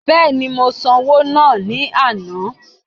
Bẹ́ẹ̀ni, mo san owó náà ní àná